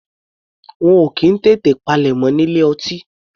Wọn ò kì í tètè palẹ̀mọ́ ní ilé ọtí.